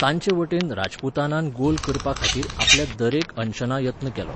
तांचेवटेन राजपुतानान गोल करपा खातीर आपल्या दरेक अंशना यत्न केलो.